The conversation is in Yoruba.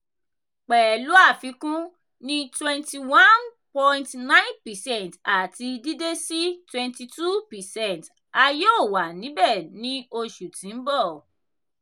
pẹlu afikun ni 21.9 percent ati dide si 22 percent - a yoo wa nibẹ ni oṣu ti n bọ-